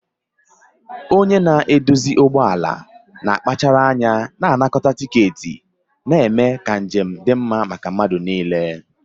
Onye na-eduzi ụgbọ ala na-akpachara anya na-anakọta tiketi, na-eme ka njem dị mma maka mmadụ niile.